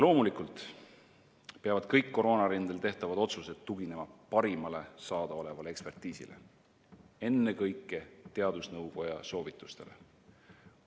Loomulikult peavad kõik koroonarindel tehtavad otsused tuginema parimale saadaolevale ekspertiisile, ennekõike teadusnõukoja soovitustele.